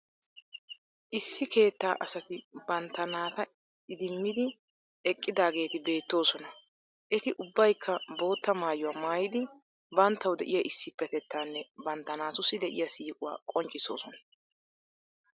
Issi keettaa asati bantta naata idimmidi eqqidaageeti beettoosona. Eti ubbayikka bootta maayuwa maayidi banttawu de'iya issipetettanne bantta naatussi de'iya siiquwaa qonccissoosona.